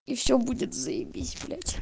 и всё будет заебись блять